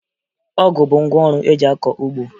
Ọgụ bụ ngwaọrụ eji akọ ugbo